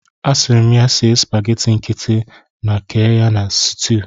Asịrị m ya sie supageti nkịtị na kee ya na sutuu.